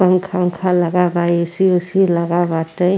पंखा ऊंखा लगा बा। ए.सी. उसी लगा बाटे।